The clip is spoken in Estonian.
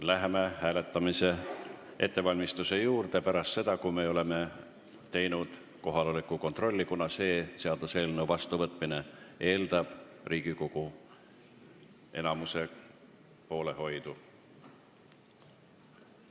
Läheme hääletamise ettevalmistuse juurde pärast seda, kui oleme teinud kohaloleku kontrolli, kuna selle seaduseelnõu vastuvõtmine eeldab Riigikogu enamuse poolthääli.